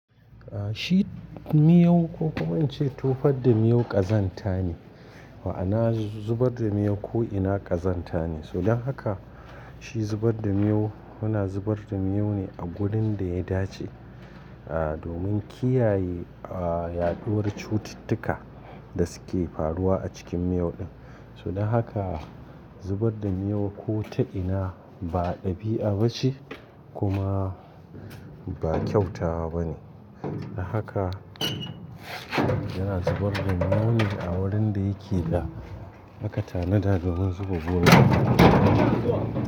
Ah, shi miyau ko kuma in ce tofar da miyau ƙazanta ne. Wa'ana zubar da miyau ko ina ƙazanta ne. Don haka shi zubar da miyau muna zubar da miyau ne a gudun da ya dace, ah, domin kiyaye, ah, yaɗuwar cututtuka da suke faruwa a cikin miyau din. So dan haka zubar da miyau ko ta ina ba ɗabi'a ba ce kuma ba kyautawa ba ne. Dan haka yana zubar da miyau ne a wurin da yake da muka tanada domin zuba gonar.